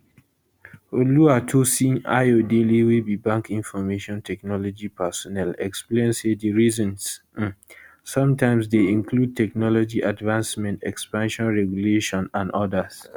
oluwatosin ayodele wey be bank information technology personel explain say di reasons um sometimes dey include technology advancement expansion regulation and odas